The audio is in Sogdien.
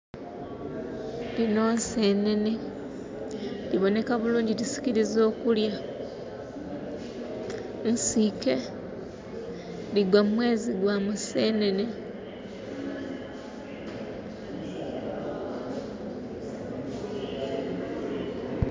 Dhinho nsenhenhe, dhibonheka bulungi dhisikiriza okulya. Nsike, dhigwa mumwezi gwa musenhenhe.